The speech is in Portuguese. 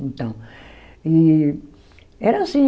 Então. E... Era assim.